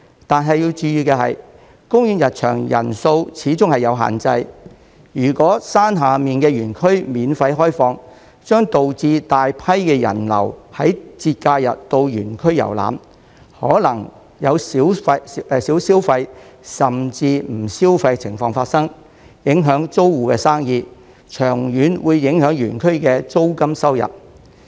但要注意的是，公園入場人數始終有限制，如果山下的園區免費開放，將導致大批的人流於節假日到園區遊覽，可能有少消費甚至不消費的情況發生，影響租戶的生意，長遠會影響園區的租金收入。